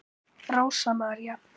Rósa María.